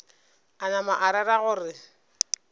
a napa a rera gore